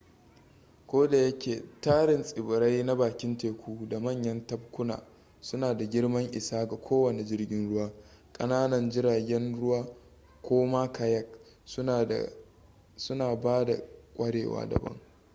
kodayake tarin tsibirai na bakin teku da manyan tabkuna suna da girman isa ga kowane jirgin ruwa ƙananan jiragen ruwa ko ma kayak suna ba da kwarewa daban